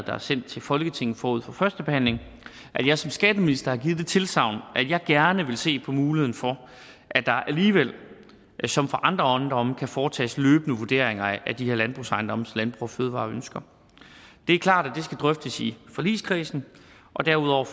er sendt til folketinget forud for førstebehandlingen har jeg som skatteminister givet det tilsagn at jeg gerne vil se på muligheden for at der alligevel som for andre ejendomme kan foretages løbende vurderinger af de her landbrugsejendomme landbrug fødevarer ønsker det er klart at skal drøftes i forligskredsen og derudover